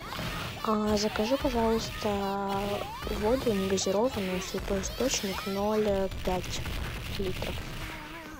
закажи пожалуйста воду негазированную святой источник ноль пять литров